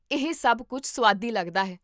ਇਹ ਸਭ ਬਹੁਤ ਸੁਆਦੀ ਲੱਗਦਾ ਹੈ